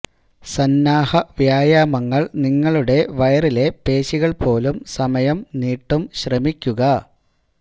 സന്നാഹ വ്യായാമങ്ങൾ നിങ്ങളുടെ വയറിലെ പേശികൾ പോലും സമയം നീട്ടും ശ്രമിക്കുക